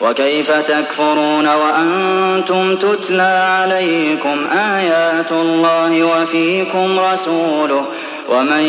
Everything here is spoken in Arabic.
وَكَيْفَ تَكْفُرُونَ وَأَنتُمْ تُتْلَىٰ عَلَيْكُمْ آيَاتُ اللَّهِ وَفِيكُمْ رَسُولُهُ ۗ وَمَن